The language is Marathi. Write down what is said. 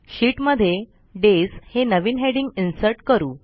शीटमध्ये डेज हे नवीन हेडिंग इन्सर्ट करू